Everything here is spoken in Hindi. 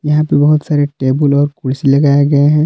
यहां पे बहुत सारे टेबुल और कुर्सी लगाए गए हैं।